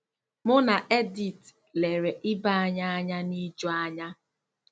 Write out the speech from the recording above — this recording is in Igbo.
Mụ na Edith lere ibe anyị anya n'ijuanya.